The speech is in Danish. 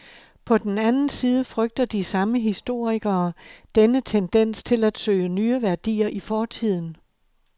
På den anden side frygter de samme historikere denne tendens til at søge nye værdier i fortiden.